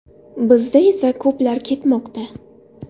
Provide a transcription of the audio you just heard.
Bizda esa ko‘plar ketmoqda.